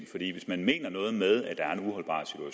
hvis man mener noget med at der er